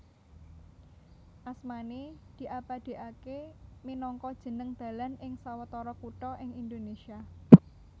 Asmané diabadèkaké minangka jeneng dalan ing sawetara kutha ing Indonésia